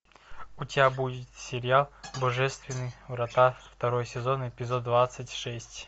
у тебя будет сериал божественные врата второй сезон эпизод двадцать шесть